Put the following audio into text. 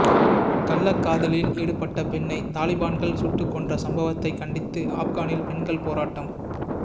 கள்ளக்காதலில் ஈடுபட்ட பெண்ணை தலிபான்கள் சுட்டுக்கொன்ற சம்பவத்தை கண்டித்து ஆப்கானில் பெண்கள் போராட்டம்